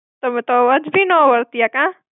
તમે તો અવાજ ભી ના ઓળખ્યા, કાં?